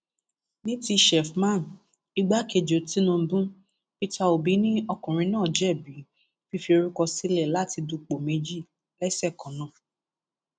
ní ti sheffman ìgbàkejì tìǹbù peter obi ni ọkùnrin náà jẹbi fífi orúkọ sílẹ láti dúpọ méjì lẹsẹ kan náà